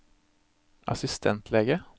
assistentlege